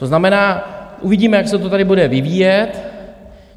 To znamená, uvidíme, jak se to tady bude vyvíjet.